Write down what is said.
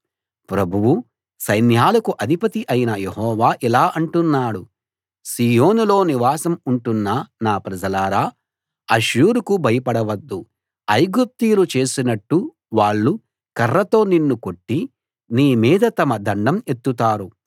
ప్రభువూ సైన్యాలకు అధిపతి అయిన యెహోవా ఇలా అంటున్నాడు సీయోనులో నివాసం ఉంటున్న నా ప్రజలారా అష్షూరుకు భయపడవద్దు ఐగుప్తీయులు చేసినట్టు వాళ్ళు కర్రతో నిన్ను కొట్టి నీ మీద తమ దండం ఎత్తుతారు